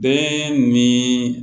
Bɛɛ ni